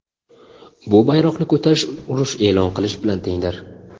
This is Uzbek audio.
bu bayroqni ko‘tarish urush e’lon qilish bilan tengdir.